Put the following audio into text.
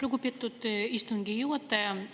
Lugupeetud istungi juhataja!